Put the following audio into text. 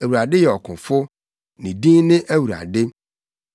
Awurade yɛ ɔkofo; ne din ne Awurade.